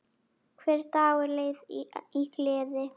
Hver dagur leið í gleði.